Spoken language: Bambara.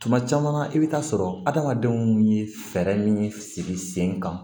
Tuma caman na i bɛ taa sɔrɔ adamadenw ye fɛɛrɛ min sigi sen kan